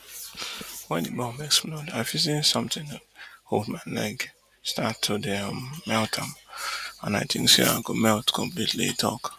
wen di bomb explode i feel feel say somtin hold my leg start to dey um melt am and i tink say i go melt completely e tok